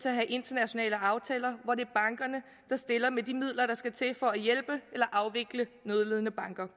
at have internationale aftaler hvor bankerne stiller med de midler der skal til for at hjælpe eller afvikle nødlidende banker